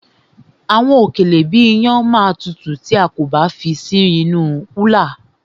Àwọn òkèlè bíi iyán ma tutù tí a kò bá fi sí inú kúlà.